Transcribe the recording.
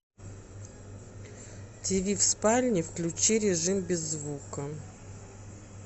тиви в спальне включи режим без звука